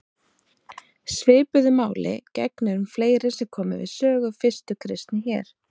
Svipuðu máli gegnir um fleiri sem komu við sögu fyrstu kristni hér.